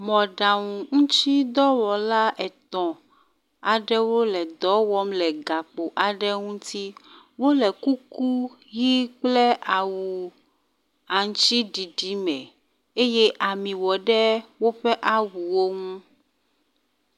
Mɔɖaŋu ŋutidɔwɔla etɔ̃ aɖewo le dɔ wɔm le ghakpo aɖe ŋuti. Wole kuku ʋi kple awu aŋutiɖiɖi me eye ami wɔ ɖe woƒe awuwo ŋu.